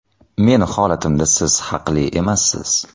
Meni holatimda siz haqli emassiz.